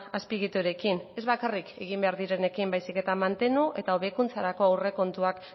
azpiegiturekin ez bakarrik egin behar direnekin baizik eta mantenu eta hobekuntzarako aurrekontuak